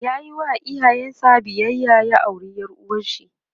yayi wa iyayen sa biyayya ya aure ƴar uwarshi